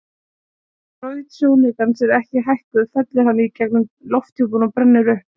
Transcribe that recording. Ef braut sjónaukans er ekki hækkuð fellur hann í gegnum lofthjúpinn og brennur upp.